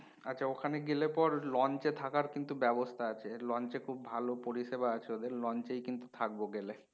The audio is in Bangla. আচ্ছা ওখানে গেলে পর launch এ থাকার কিন্তু ব্যাবস্থা আছে launch এ খুব ভালো পরিষেবা আছে ওদের launch এই কিন্তু থাকবো গেলে